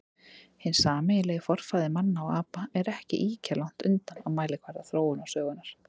Hinn sameiginlegi forfaðir manna og apa er ekki ýkja langt undan á mælikvarða þróunarsögunnar.